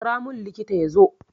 Kira mun likita yazo